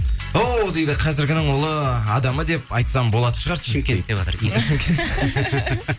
оу дейді қазіргінің ұлы адамы деп айтсам болатын шығар шымкент деватыр